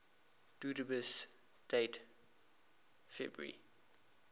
dubious date february